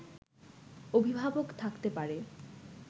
অভিভাবক থাকতে পারে